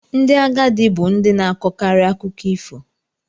Ndị agadi bu ndi na-akọkarị akụkọ ifo.